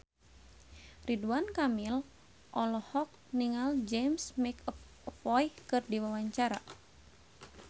Ridwan Kamil olohok ningali James McAvoy keur diwawancara